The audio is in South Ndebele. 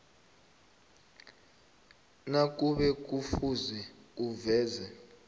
nakube kufuze uveze